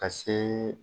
Ka se